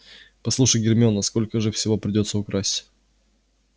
послушай гермиона сколько же всего придётся украсть